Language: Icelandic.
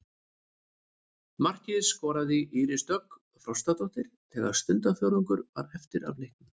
Markið skoraði Íris Dögg Frostadóttir þegar stundarfjórðungur var eftir af leiknum.